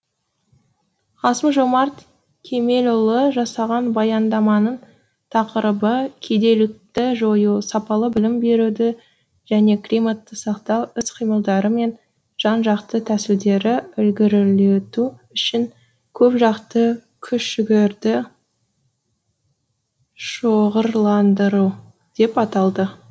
қасым жомарт кемелұлы жасаған баяндаманың тақырыбы кедейлікті жою сапалы білім беруді және климатты сақтау іс қимылдары мен жан жақты тәсілдерді ілгерілету үшін көпжақты күш жігерді шоғырландыру деп аталды